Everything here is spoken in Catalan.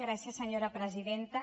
gràcies senyora presidenta